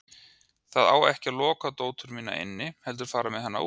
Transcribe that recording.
Það á ekki að loka dóttur mína inni heldur fara með hana út!